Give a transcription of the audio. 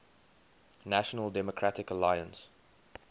national democratic alliance